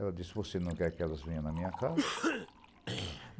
Ela disse, você não quer que elas venham na minha casa?